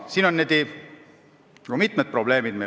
Siin on meil ka mitmed probleemid.